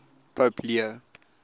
pope leo